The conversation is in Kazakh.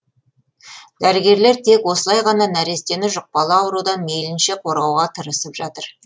дәрігерлер тек осылай ғана нәрестені жұқпалы аурудан мейлінше қорғауға тырысып жатыр